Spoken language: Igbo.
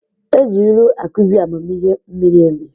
E ji ilu akụzi amamihe miri emi.